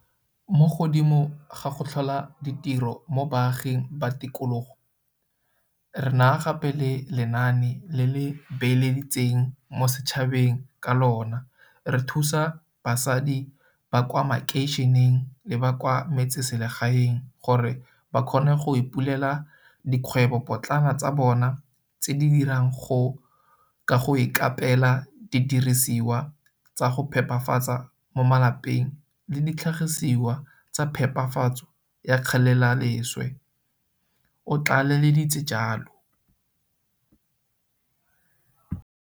Mo godimo ga go tlhola ditiro mo baaging ba tikologo, re na gape le lenaane le le beeleditseng mo setšhabeng ka lona re thusa basadi ba kwa makeišeneng le ba kwa metseselegaeng gore ba kgone go ipulela dikgwebopotlana tsa bona tse di dirang ka go ikaapela didirisiwa tsa go phepafatsa mo malapeng le ditlhagisiwa tsa phepafatso ya kgelelaleswe, o tlaleleditse jalo.